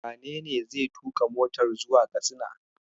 Wenene zai tuƙa matar zuwa Katsina?